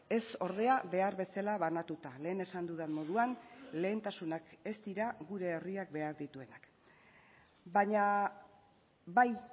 ez ordea behar bezala banatuta lehen esan dudan moduan lehentasunak ez dira gure herriak behar dituenak baina bai